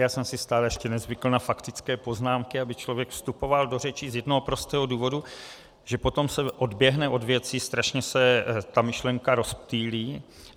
Já jsem si stále ještě nezvykl na faktické poznámky, aby člověk vstupoval do řeči, z jednoho prostého důvodu, že potom se odběhne od věci, strašně se ta myšlenka rozptýlí.